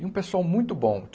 E um pessoal muito bom.